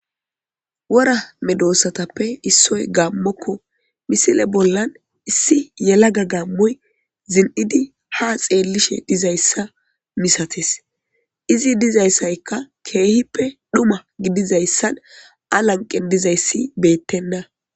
wora medossatappe issoy gaammokko misile bollan issi yelaga gaammoy zin7idi ha xeellishe dizayssa misates izi dizayssaykka keehippe dhuma gidizayssan alanqen dizayssi beettenda